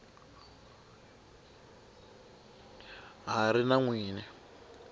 ha ri na n wini